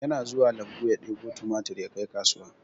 Yana zuwa lambu ya ɗebo tumatur yakai kasuwa